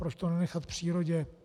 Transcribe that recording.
Proč to nenechat přírodě.